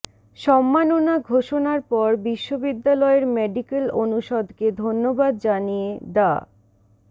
সম্মাননা ঘোষণার পর বিশ্ববিদ্যালয়ের মেডিকেল অনুষদকে ধন্যবাদ জানিয়ে ডা